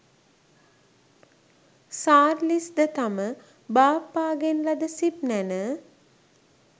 සාර්ලිස් ද තම බාප්පාගෙන් ලද සිප් නැණ,